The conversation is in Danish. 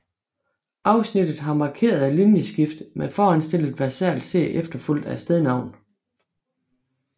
Afsnittet har markerede linjeskift med foranstillet versal C efterfulgt af stednavn